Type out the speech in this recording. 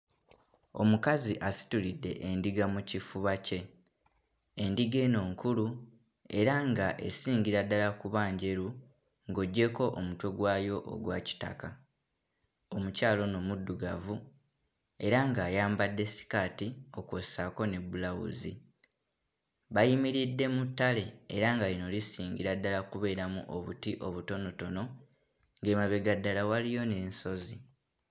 Omukazi asitulidde endiga mu kifuba kye. Endiga eno nkulu era nga esingira ddala kuba njeru ng'oggyeko omutwe gwayo ogwa kitaka. Omukyala ono muddugavu era nga ayambadde sikaati okwo ssaako ne bbulawuzi. Bayimiridde mu ttale era nga lino lisingira ddala kubeeramu obuti obutonotono. Emabega ddala waliyo n'ensozi.